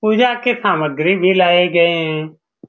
पूजा के सामग्री भी लाये गए हैं।